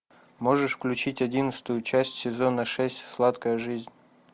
можешь включить одиннадцатую часть сезона шесть сладкая жизнь